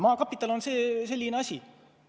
Maakapital on ka selline asi.